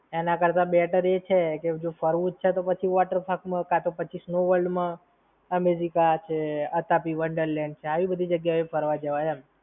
એના કરતા better એ જ છે કે, જો ફરવું જ છે તો પછી water park માં કાંતો પછી snow-world માં, Imagica છે, Atapi Wonderland છે. આવી બધી જગ્યા એ ફરવા જવાય એમ.